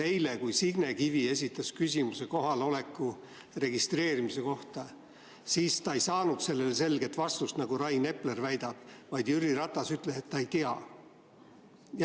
Eile, kui Signe Kivi esitas küsimuse kohaloleku registreerimise kohta, siis ta ei saanud sellele selget vastust, nagu Rain Epler väidab, vaid Jüri Ratas ütles, et ta ei tea.